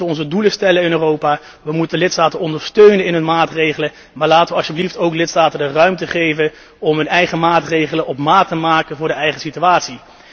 Wij moeten onze doelen stellen in Europa, wij moeten lidstaten ondersteunen in hun maatregelen, maar laten wij alsjeblieft de lidstaten ook de ruimte geven om hun eigen maatregelen op maat te maken voor hun eigen situatie.